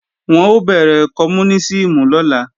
Wọ́n ó bẹ̀rẹ̀ kọmúnísìmù lọ́la